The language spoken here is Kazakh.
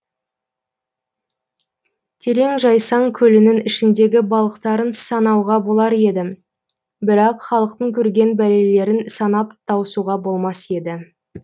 терең жайсаң көлінің ішіндегі балықтарын санауға болар еді бірақ халықтың көрген бәлелерін санап тауысуға болмас еді